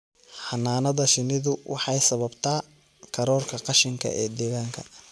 Xannaanada shinnidu waxay sababtaa kororka qashinka ee deegaanka.